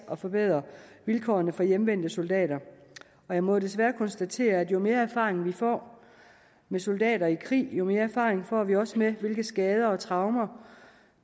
at forbedre vilkårene for hjemvendte soldater og jeg må desværre konstatere at jo mere erfaring vi får med soldater i krig jo mere erfaring får vi også med hvilke skader og traumer